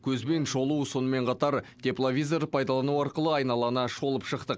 көзбен шолу сонымен қатар тепловизор пайдалану арқылы айналана шолып шықтық